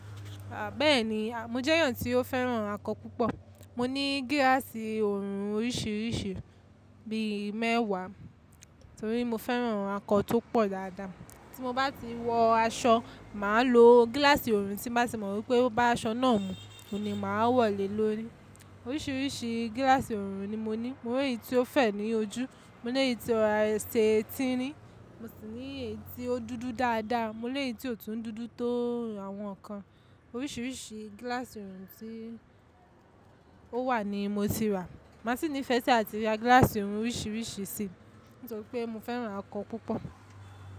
A bẹ́ẹ̀ni, mo jẹ́ èyàn tí ó fẹ́ràn akọ púpọ̀. Mo ní gíláàsì oorun oríṣiríṣi bíi mẹ́wà torí mo fẹ́ràn akọ tó pọ̀ dáadáa. Tí mo bá ti wọ aṣọ, màá lo gíláàsì oorun tí màá tì mọ̀ pé o bá aṣọ náà mú, òun ni màá wọ̀ lé lórí. Oríṣiríṣi gíláàsì oorun ni mo ní. Mo ní èyí tí ó fẹ̀ ní ojú, mo ní èyí tí ọ ro rà ṣe ti ní, mo sì ní èyí tí ó dúdú dáadáa, mo lè yí tí ò tún dúdú tó àwọn kan. Oríṣiríṣi gíláàsì oorun tí ó wà ni mo ti rà. Màá sì nífẹ́ sí àti ra gíláàsì oorun oríṣiríṣi sí, nítorí pé mo fẹ́ràn akọ púpọ̀